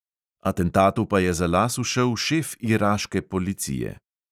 Atentatu pa je za las ušel šef iraške policije.